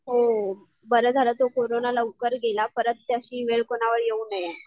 हो बरं झालं तो कोरोना लवकर गेला परत तशी वेळ कोणावर येऊ नये.